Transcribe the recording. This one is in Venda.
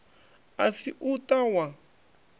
a si u ta wa